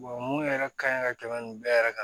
mun yɛrɛ ka ɲi ka tɛmɛ nin bɛɛ yɛrɛ kan